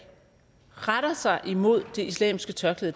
retter sig imod det islamiske tørklæde